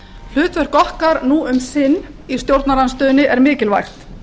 hlutverk okkar nú um sinn í stjórnarandstöðu er mikilvægt